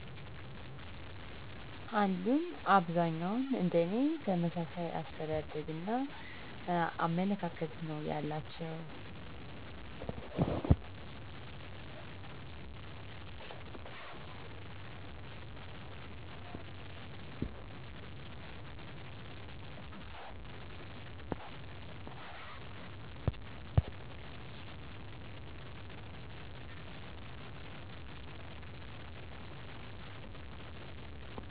አሉኝ። አብዛኛዉን እንደኔ ተመሣሣይ አሰተዳደግና አመለካከት ነው ያላቸዉ